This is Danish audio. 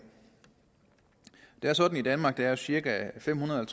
det er sådan i danmark at der er cirka femhundrede